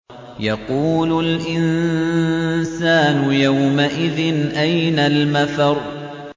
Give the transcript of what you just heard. يَقُولُ الْإِنسَانُ يَوْمَئِذٍ أَيْنَ الْمَفَرُّ